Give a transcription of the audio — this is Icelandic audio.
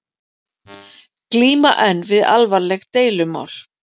Glíma enn við alvarleg deilumál